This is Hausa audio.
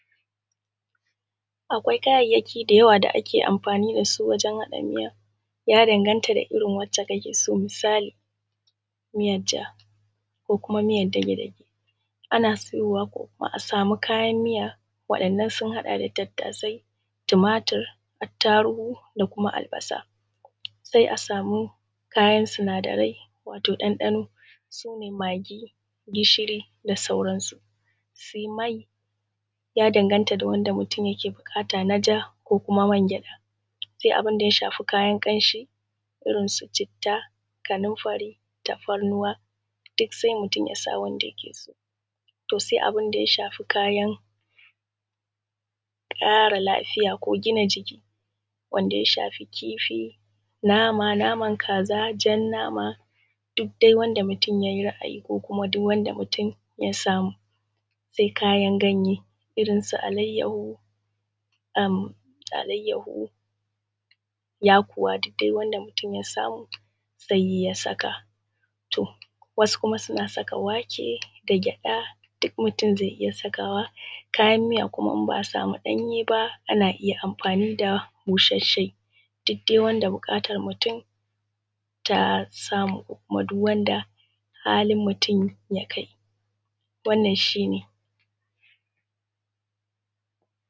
Akwai kayayyaki da yawa da ake amfani da su wajen haɗa miya ya danganta da irin wacce kake so. Misali miyarvja ko kuma miyar dage-dage. Ana sayowa ko kuma a sama kayan miya waɗannan sun haɗa da tumatur da tarugu da kuma albasa. Sai a sama kayan sinadarai su ne magi gishiri da da sauransu. Sai mai ya danganta da wanda mutum yake buƙata na ja ko kuma man gyaɗa. Sai kuma abun da ya shafa kayan kanshi, irin su citta kanunfari, tafarnuwa duk sai mutun ya sa wanda yake so. To sai abun da ya shafi kayan ƙara lafiya ko gina jiki, kamar su kifi, nama da naman kaza, jan nama duk dai wanda mutum ya yi ra'ayi ko kuma duk wanda mutum ya samu. Sai kuma kayan ganye irinsu alaiyahu da yakuwa duk wanda mutum ya samu sai ya sa. To wasu kuma sina saka wake da gyaɗa duk mutum zai iya sawa. Kayan miya ko idan ba a sama ɗanyen ba ana iya amfani da busasshe duk dai wanda buƙatar mutum ya samu. Kuma duk wanda halin mutum ya kai, wannan shi ne.